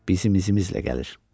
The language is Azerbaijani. Bizim izimizlə gəlir.